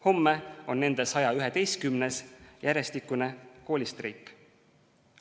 Homme on nende 111. järjestikune koolistreik.